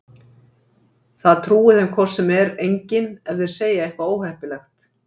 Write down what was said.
Það trúi þeim hvort sem er enginn ef þeir segja eitthvað óheppilegt.